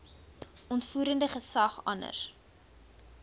uitvoerende gesag anders